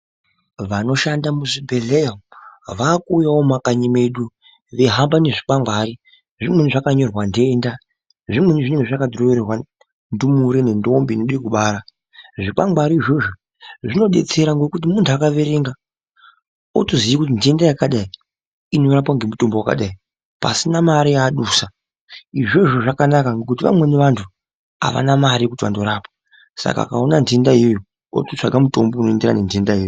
Vanoshando muzvibhedhlera umu vakuuyawo mumakanyi medu veihamba nezvikwangwari zvimweni zvakanyorwa ndenda zvimweni zvinenge zvakadhirowerwa ndumure nendombi inode kubara, zvikwangwari izvozvo zvinodetsera ngokuti mundu akaverenga otoziye kuti ndenda yakadai inorapwe ngemutombo wakadai pasina mare yaaadusa izvozvo zvakanaka ngekuti vamweni vantu avana mare yekuti vanorapwa Saka akaona ndenda iyoyo ototsvaga mutombo unoenderana nendenda iyoyo.